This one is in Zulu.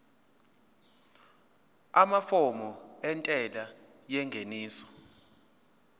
amafomu entela yengeniso